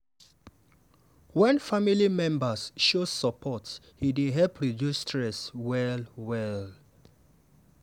wen family members show support e dey help reduce stress well-well.